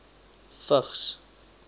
vigs